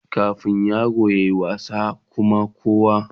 A da yara na wasa a koina da Kuma kowa